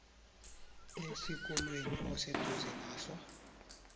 esikolweni oseduze naso